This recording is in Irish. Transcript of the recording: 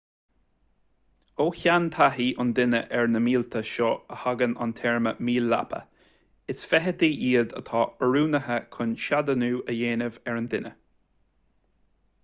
ó sheantaithí an duine ar na míolta seo a thagann an téarma míol leapa is feithidí iad atá oiriúnaithe chun seadánú a dhéanamh ar an duine